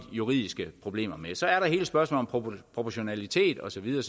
juridiske problemer med så er der hele spørgsmålet proportionalitet og så videre